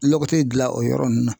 Lɔgɔti dilan o yɔrɔ ninnu na.